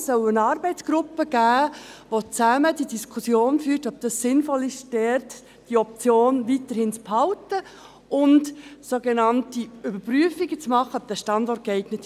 Es soll eine Arbeitsgruppe geben, welche die Diskussion führt, ob es sinnvoll ist, dort die Option weiterhin zu behalten und sogenannte Überprüfungen zu machen, ob dieser Standort geeignet ist.